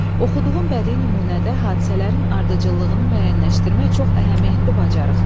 Oxuduğum bədii nümunədə hadisələrin ardıcıllığını müəyyənləşdirmək çox əhəmiyyətli bacarıqdır.